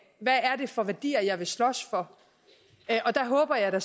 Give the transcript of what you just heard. hvad er det for værdier jeg vil slås for der håber jeg da